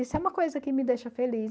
Isso é uma coisa que me deixa feliz.